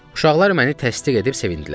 Uşaqlar məni təsdiq edib sevindilər.